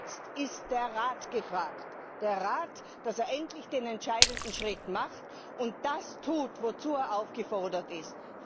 Jetzt ist der Rat gefragt, dass er endlich den entscheidenden Schritt macht und das tut, wozu er aufgefordert ist.